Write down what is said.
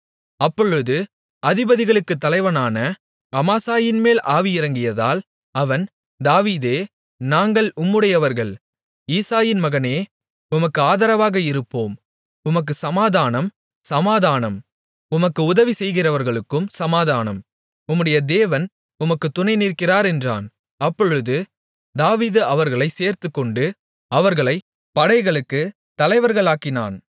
அப்பொழுது அதிபதிகளுக்குத் தலைவனான அமாசாயின்மேல் ஆவி இறங்கியதால் அவன் தாவீதே நாங்கள் உம்முடையவர்கள் ஈசாயின் மகனே உமக்கு ஆதரவாக இருப்போம் உமக்குச் சமாதானம் சமாதானம் உமக்கு உதவி செய்கிறவர்களுக்கும் சமாதானம் உம்முடைய தேவன் உமக்குத் துணை நிற்கிறார் என்றான் அப்பொழுது தாவீது அவர்களைச் சேர்த்துக்கொண்டு அவர்களை படைகளுக்குத் தலைவர்களாக்கினான்